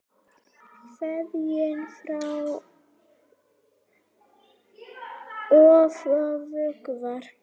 Kveðið oft á vöku var.